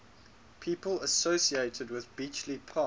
people associated with bletchley park